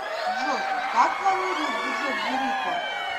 джой как планирует бюджет бурико